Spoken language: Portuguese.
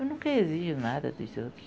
Eu nunca exijo nada dos outros.